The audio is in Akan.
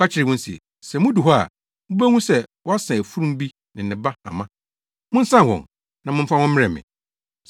Ɔka kyerɛɛ wɔn se, “Sɛ mudu hɔ a, mubehu sɛ wɔasa afurum bi ne ne ba hama. Monsan wɔn, na momfa wɔn mmrɛ me.